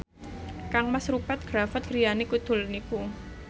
kangmas Rupert Graves griyane kidul niku